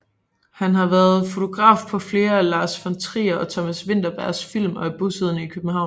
Han har været fotograf på flere af Lars von Trier og Thomas Vinterbergs film og er bosiddende i København